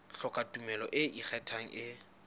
hloka tumello e ikgethang e